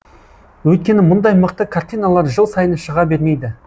өйткені мұндай мықты картиналар жыл сайын шыға бермейді